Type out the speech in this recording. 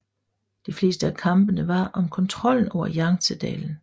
De fleste af kampene var om kontrollen over Yangtzedalen